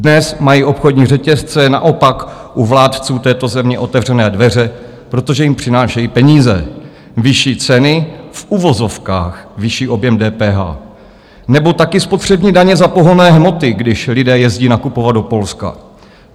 Dnes mají obchodní řetězce naopak u vládců této země otevřené dveře, protože jim přinášejí peníze, vyšší ceny, v uvozovkách vyšší objem DPH, nebo taky spotřební daně za pohonné hmoty, když lidé jezdí nakupovat do Polska.